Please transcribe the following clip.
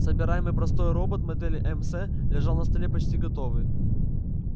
собираемый простой робот модели мс лежал на столе почти готовый